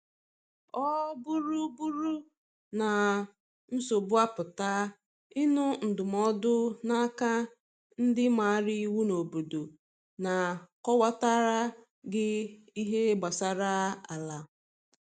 Ọ bụrụ bụrụ na nsogbu apụta, ịnụ ndụmọdụ na aka ndi maara iwu n’obodo ga akọwata ra gi ihe gbasara ala